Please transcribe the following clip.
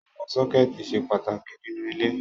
Àwọn sọ́kẹ́tì ṣe pàtàkì nínú ilé.